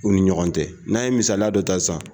U ni ɲɔgɔn cɛ n'an ye misaliya dɔ ta sisan